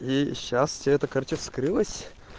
и сейчас тебе это короче вскрылась